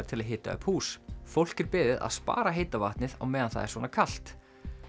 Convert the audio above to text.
til að hita upp hús fólk er beðið að spara heita vatnið á meðan það er svona kalt